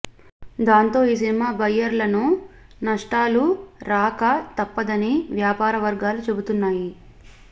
దాంతో ఈ సినిమా బయ్యర్లను నష్టాలు రాక తప్పదని వ్యాపార వర్గాలు చెబుతున్నాయి